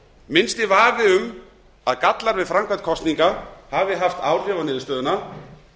minnsti vafi um að allar við framkvæmd kosninga hafi haft áhrif á niðurstöðuna